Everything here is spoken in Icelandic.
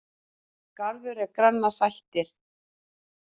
Garður er granna sættir.